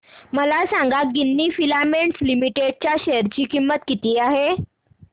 मला सांगा Ginni filaments limited च्या शेअर ची किंमत किती आहे